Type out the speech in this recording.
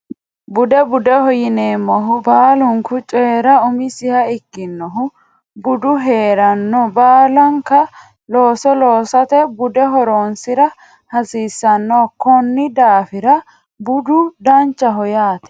Bude budeho yineemmohu baalunku coyra umisiha ikkinohu budu heeranno baalanka looso loosate bude horonsira hasiissanno konni daafira budu danchaho yaate